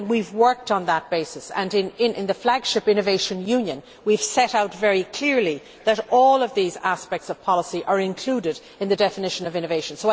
We have worked on that basis, and in the flagship Innovation Union initiative we have set out very clearly that all of these aspects of policy are included in the definition of innovation.